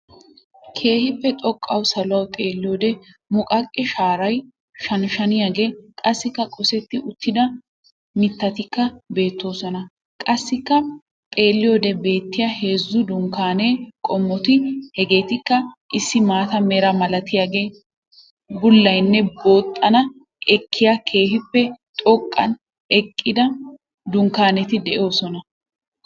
Keehiippe xoqqawu saluwawu xeelliyode muqaqe shaaray shani shaniyaagee, qassikka qossetti uttida mittatikka beettoosona. Qassikka xeelliyode beettiya heezzu dunkkaane qommoti hegeetikka issi maata mera malatiyaagee, bullaynne, booxxana ekkiyaa keehiippe xoqqan eqqida dunkkanetti doosona.